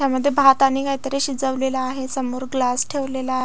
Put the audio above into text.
यामध्ये भात आणि काहीतरी शिजवलेल आहे समोर ग्लास ठेवलेला--